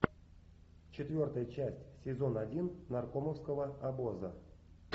четвертая часть сезон один наркомовского обоза